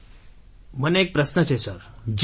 sir મને એક પ્રશ્ન છે સર